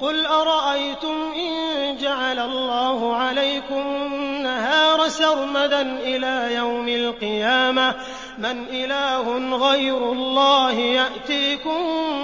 قُلْ أَرَأَيْتُمْ إِن جَعَلَ اللَّهُ عَلَيْكُمُ النَّهَارَ سَرْمَدًا إِلَىٰ يَوْمِ الْقِيَامَةِ مَنْ إِلَٰهٌ غَيْرُ اللَّهِ يَأْتِيكُم